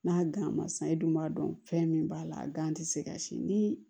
N'a gan ma san i dun b'a dɔn fɛn min b'a la a gan ti se ka si ni